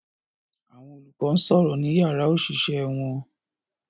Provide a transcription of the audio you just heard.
Àwọn olùkọ́ ń sọ̀rọ̀ ní yàrá òṣìṣẹ́ wọn